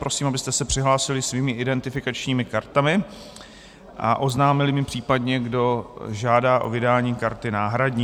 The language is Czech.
Prosím, abyste se přihlásili svými identifikačními kartami a oznámili mi případně, kdo žádá o vydání karty náhradní.